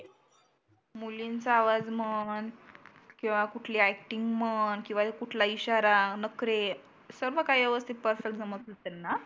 मुलींचा आवाज म्हण किंवा कुठली ऍक्टिंग म्हण कींवा कुठलाही इशारा, नखरे सर्व काही व्यवस्थीत पर्सन समजते त्यांना.